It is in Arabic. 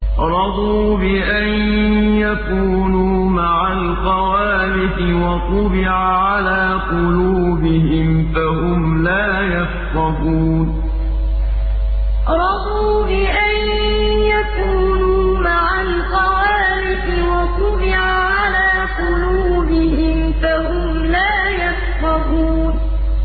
رَضُوا بِأَن يَكُونُوا مَعَ الْخَوَالِفِ وَطُبِعَ عَلَىٰ قُلُوبِهِمْ فَهُمْ لَا يَفْقَهُونَ رَضُوا بِأَن يَكُونُوا مَعَ الْخَوَالِفِ وَطُبِعَ عَلَىٰ قُلُوبِهِمْ فَهُمْ لَا يَفْقَهُونَ